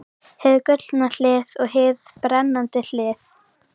Hið gullna hlið og hið brennandi hlið.